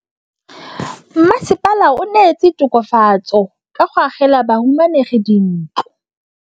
Mmasepala o neetse tokafatsô ka go agela bahumanegi dintlo.